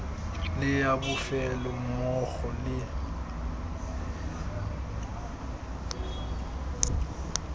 le ya bofelo mmogo le